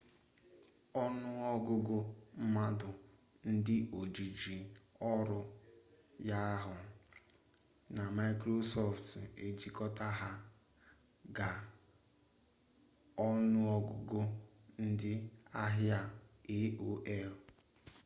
ọnụọgụgụ mmadụ ndị ojiji ọrụ yahuu! na maịkrosọftụ ejikọta ha ga- ọnụọgụgụ ndị ahịa aol